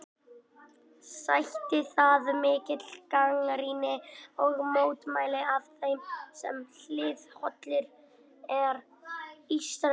Sætti það mikilli gagnrýni og mótmælum af þeim sem hliðhollir eru Ísraelsríki.